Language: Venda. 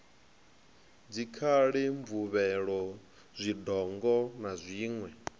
dzikhali mvuvhelo zwidongo na zwiṋwe